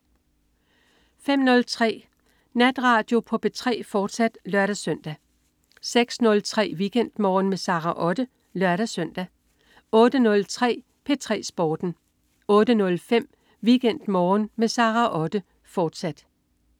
05.03 Natradio på P3, fortsat (lør-søn) 06.03 WeekendMorgen med Sara Otte (lør-søn) 08.03 P3 Sporten 08.05 WeekendMorgen med Sara Otte, fortsat